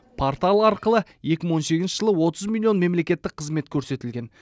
портал арқылы екі мың он сегізінші жылы отыз миллион мемлекеттік қызмет көрсетілген